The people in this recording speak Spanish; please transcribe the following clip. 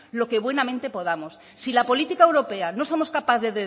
lo que buenamente podamos si la política europea no somos capaces de